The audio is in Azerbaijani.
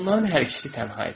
Onların hər ikisi tənha idilər.